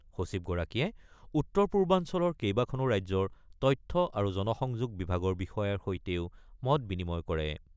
সচিবগৰাকীয়ে উত্তৰ পূৰ্বাঞ্চলৰ কেইবাখনো ৰাজ্যৰ তথ্য আৰু জনসংযোগ বিভাগৰ বিষয়াৰ সৈতেও মত বিনিময় কৰে।